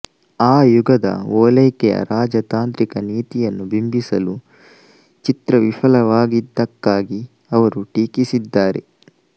ಆ ಯುಗದ ಓಲೈಕೆಯ ರಾಜತಾಂತ್ರಿಕ ನೀತಿಯನ್ನು ಬಿಂಬಿಸಲು ಚಿತ್ರ ವಿಫಲವಾಗಿದ್ದಕ್ಕಾಗಿ ಅವರು ಟೀಕಿಸಿದ್ದಾರೆ